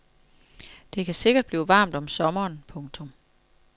Det kan sikkert blive varmt om sommeren. punktum